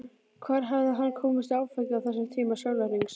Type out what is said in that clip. Hvar hafði hann komist í áfengi á þessum tíma sólarhrings?